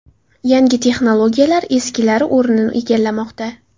Yangi texnologiyalar eskilari o‘rnini egallamoqda.